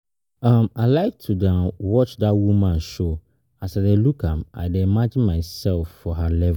um I like to um dey watch dat woman show, as I dey look am I dey imagine myself for her level